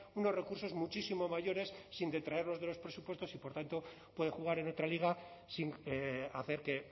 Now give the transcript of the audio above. unos recursos muchísimo mayores sin detraerlos de los presupuestos y por tanto puede jugar en otra liga sin hacer que